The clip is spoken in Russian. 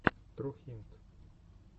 трухинт